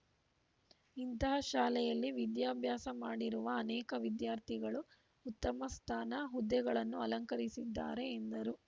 ಇಂತಹ ಶಾಲೆಯಲ್ಲಿ ವಿದ್ಯಾಭ್ಯಾಸ ಮಾಡಿರುವ ಅನೇಕ ವಿದ್ಯಾರ್ಥಿಗಳು ಉತ್ತಮ ಸ್ಥಾನ ಹುದ್ದೆಗಳನ್ನು ಅಲಂಕರಿಸಿದ್ದಾರೆ ಎಂದರು